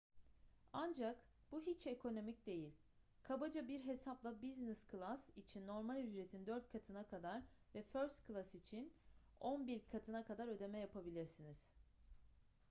ancak bu hiç ekonomik değil kabaca bir hesapla business class için normal ücretin dört katına kadar ve first class için on bir katına kadar ödeme yapabilirsiniz